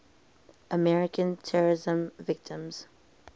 american terrorism victims